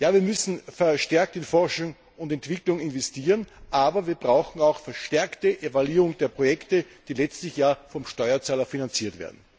Ja, wir müssen verstärkt in Forschung und Entwicklung investieren, aber wir brauchen auch eine verstärkte Evaluierung der Projekte, die letztlich ja vom Steuerzahler finanziert werden.